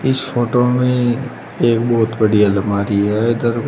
इस फोटो में एक बहुत बड़ी अलमारी है इधर।